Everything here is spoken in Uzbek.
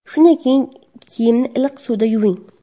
Shunda keyin kiyimni iliq suvda yuving.